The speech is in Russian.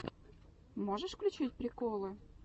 можешь включить приколы